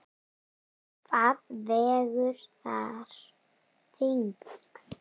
Hvað vegur þar þyngst?